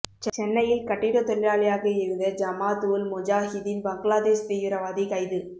சென்னையில் கட்டிடத் தொழிலாளியாக இருந்த ஜமாத் உல் முஜாஹிதீன் பங்களாதேஷ் தீவிரவாதி கைது